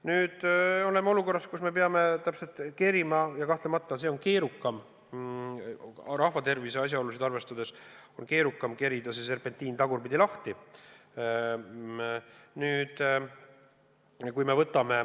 Nüüd oleme olukorras, kus me peame kerima – ja kahtlemata see on rahva tervise asjaolusid arvestades keerukam – selle serpentiini tagurpidi lahti.